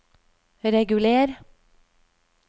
reguler